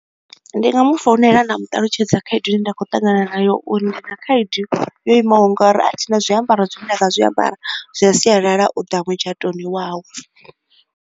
Ndi nga mu founela nda mu ṱalutshedza khaedu ine nda khou tangana nayo, uri ndi na khaedu yo imaho nga uri a thina zwiambaro zwine nda nga zwiambara zwa sialala u da mutshatoni wawe.